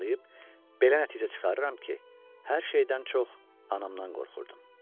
belə nəticə çıxarıram ki, hər şeydən çox anamdan qorxurdum.